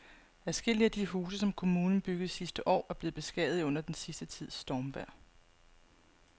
Adskillige af de huse, som kommunen byggede sidste år, er blevet beskadiget under den sidste tids stormvejr.